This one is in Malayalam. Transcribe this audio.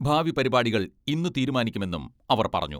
ഭാവി പരിപാടികൾ ഇന്ന് തീരുമാനിക്കുമെന്നും അവർ പറഞ്ഞു.